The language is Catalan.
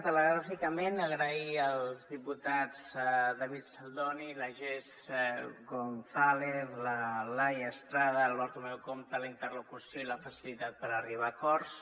telegràficament agrair als diputats david saldoni la jess gonzález la laia estrada el bartomeu compte la interlocució i la facilitat per arri·bar a acords